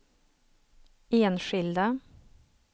enskilda